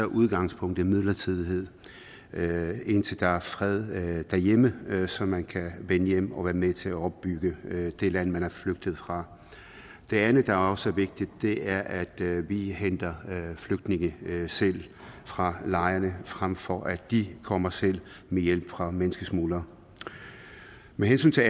udgangspunktet midlertidighed indtil der er fred derhjemme så man kan vende hjem og være med til at opbygge det land man er flygtet fra det andet der også er vigtigt er at vi henter flygtninge selv fra lejrene frem for at de kommer selv med hjælp fra menneskesmuglere med hensyn til